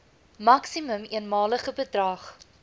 maksimum eenmalige bedrag